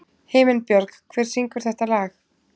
Himinbjörg, hver syngur þetta lag?